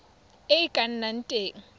e e ka nnang teng